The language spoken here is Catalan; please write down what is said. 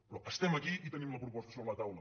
però estem aquí i tenim la proposta sobre la taula